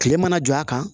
Kile mana jɔ a kan